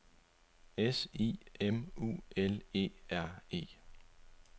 S I M U L E R E